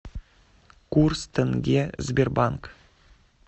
курс тенге сбербанк